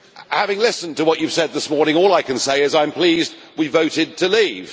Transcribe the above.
Having listened to what you have said this morning, all I can say is that I am pleased we voted to leave.